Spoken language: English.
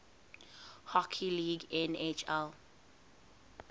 hockey league nhl